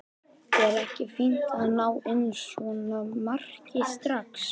Er ekki fínt að ná inn svona marki strax?